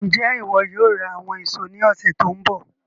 Njẹ iwọ yóò ra àwọn èso ní ọsẹ tó n bọ̀?